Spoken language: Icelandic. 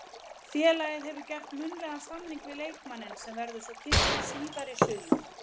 Félagið hefur gert munnlegan samning við leikmanninn sem verður svo kynntur síðar í sumar.